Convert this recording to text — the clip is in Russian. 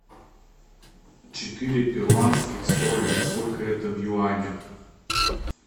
четыре перуанских соли сколько это в юанях